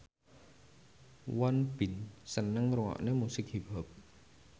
Won Bin seneng ngrungokne musik hip hop